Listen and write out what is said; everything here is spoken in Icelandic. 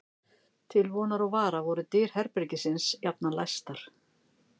Til vonar og vara voru dyr herbergisins jafnan læstar.